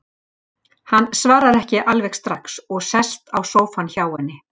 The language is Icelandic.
Hann svarar ekki alveg strax og sest á sófann hjá henni.